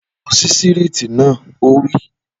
Lọ sí sítììrì naa! Ó wí